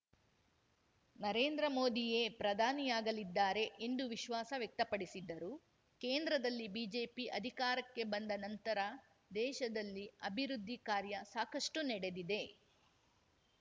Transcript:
ನರೇಂದ್ರ ಮೋದಿಯೇ ಪ್ರಧಾನಿಯಾಗಲಿದ್ದಾರೆ ಎಂದು ವಿಶ್ವಾಸ ವ್ಯಕ್ತಪಡಿಸಿದರು ಕೇಂದ್ರದಲ್ಲಿ ಬಿಜೆಪಿ ಅಧಿಕಾರಕ್ಕೆ ಬಂದ ನಂತರ ದೇಶದಲ್ಲಿ ಅಭಿವೃದ್ಧಿ ಕಾರ್ಯ ಸಾಕಷ್ಟುನಡೆದಿದೆ